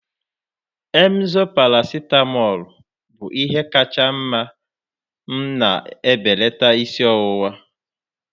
emzor paracetamol bụ ihe kacha mma m na-ebelata isi ọwụwa.